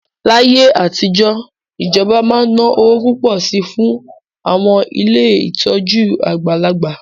Láyé àtijọ́, ìjọba máa ń ná owó púpọ̀ sí i fún àwọn ilé ìtọ́jú àgbàlagbà